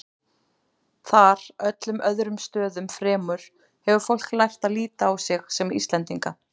Þar, öllum öðrum stöðum fremur, hefur fólk lært að líta á sig sem Íslendinga.